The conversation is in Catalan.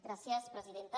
gràcies presidenta